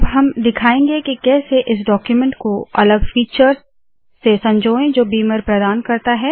अब हम दिखायेंगे के कैसे इस डाक्यूमेन्ट को अलग फीचर्स से संजोए जो बीमर प्रदान करता है